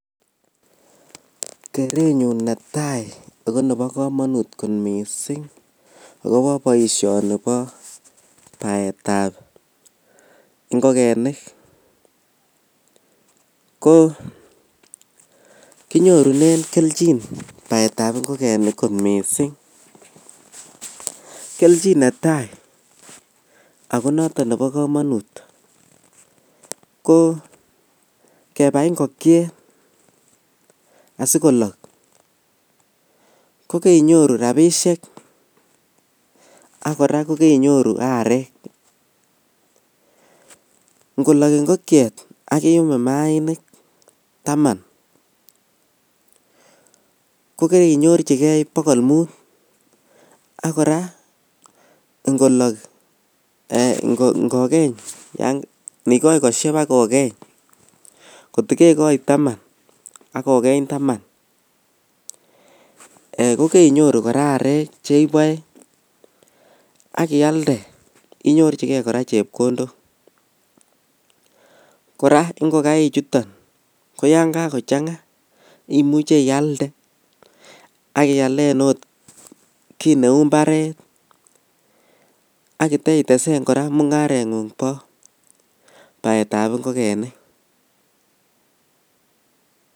kerenyun netai ago nebo komonuut kot miising agobo boishoni bo baetab ngogenik, ko kinyorunen kelchin baet ab ngogenik kot mising, kelchin netai ago noton nebo komonut, ko kebai ngokyeet asigolook kogainyoru rabishek ak kora kogainyoru areek, ngolook ngokyeet ak iyuum maainik taman, kogainyorchige bogol muut, ak kora ngolok ngogeeny yaan ngigoi kosheb ak kogeeny kot kogegoi taman ak kogeny taman, kogeinyoru kora areek cheiboe ak iyalda inyorchigee kora chepkondook, kora ngogaik chuton ko yaan kagochanga imuche iyalda ak iyaleen ogot kii neuu mbaret ak iteitesen kora mungarenguung bo baetab ngogenik.